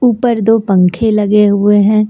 ऊपर दो पंखे लगे हुए हैं।